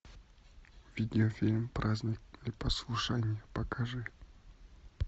видеофильм праздник непослушания покажи